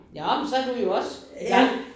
Nåh man så du jo også igang